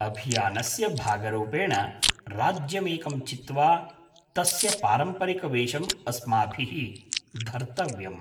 अभियानस्य भागरूपेण, राज्यमेकं चित्वा तस्य पारम्परिकवेषम् अस्माभिः धर्तव्यम्।